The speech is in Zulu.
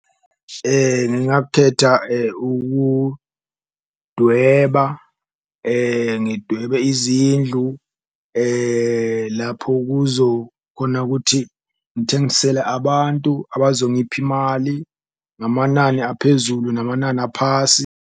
Ngingakhetha ukudweba, ngidwebe izindlu lapho kuzo khona ukuthi ngithengisele abantu abazongipha imali, ngamanani aphezulu namanani aphasi.